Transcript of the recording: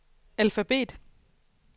alfabet